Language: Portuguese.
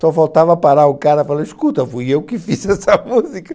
Só faltava parar o cara, falar, escuta, fui eu que fiz essa música.